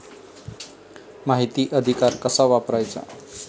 माहिती अधिकार कसा वापरायचा?